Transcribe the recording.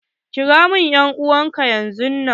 Kira min dan'uwan ka yanzun nan!